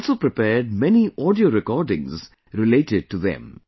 He has also prepared many audio recordings related to them